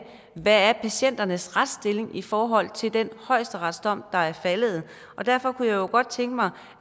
er hvad patienternes retsstilling i forhold til den højesteretsdom der er faldet er derfor kunne jeg jo godt tænke mig